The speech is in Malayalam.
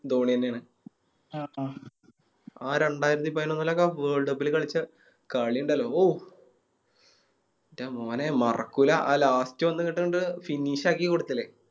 ധോനിയെന്നെ ആണ് ആ രണ്ടായിരത്തി പയിനോന്നിലൊക്കെ Worlup ല് കളിച്ച കളി ഇണ്ടാലോ ഔഫ് എൻറെ മോനെ മറക്കൂല ആ Last വന്ന് അങ്ങിട്ടങ്ങട് Finish ആക്കി കൊടുത്തില്ലേ